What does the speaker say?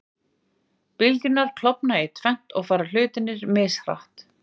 Bylgjurnar klofna í tvennt og fara hlutarnir mishratt.